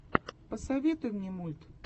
посоветуй мне мульт